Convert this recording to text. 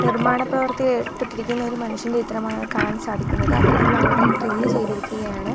നിർമ്മാണ പ്രവർത്തിയിൽ ഏർപ്പെട്ടിരിക്കുന്ന ഒരു മനുഷ്യൻ്റെ ചിത്രമാണ് കാണാൻ സാധിക്കുന്നത് അദ്ദേഹം അവിടെ ഡ്രില്ല് ചെയ്തിരിക്കുകയാണ്.